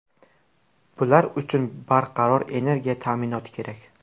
Bular uchun barqaror energiya ta’minoti kerak.